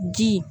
Ji